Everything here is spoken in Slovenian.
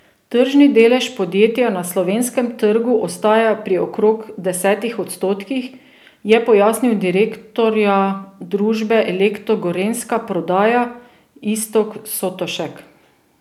Tržni delež podjetja na slovenskem trgu ostaja pri okrog desetih odstotkih, je pojasnil direktorja družbe Elektro Gorenjska Prodaja Iztok Sotošek.